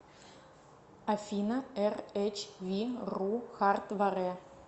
афина эр эч ви ру хард варе